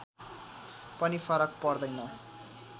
पनि फरक पर्दैन